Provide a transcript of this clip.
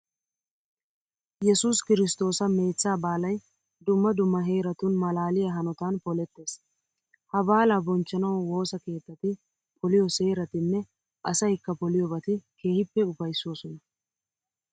Yesuus kiristtoosa meechchaa baalay dumma dumma heeratun maalaaliya hanotan polettees. Ha baalaa bonchchanawu woosa keettati poliyo seeratinne asaykka poliyobati keehippe ufayssoosona.